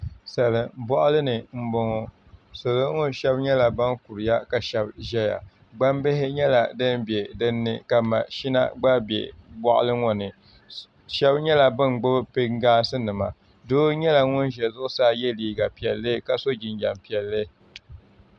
Salin boɣali ni n boŋo salo ŋo shab nyɛla ban kuriya ka shab ʒɛya gbambihi nyɛla din bɛ dinni ka mashina gba bɛ boɣali ŋo ni shab nyɛla bin gbubi pingaasi nima doo nyɛla ŋun ʒɛ zuɣusaa yɛ liiga piɛlli ka so jinjɛm piɛlli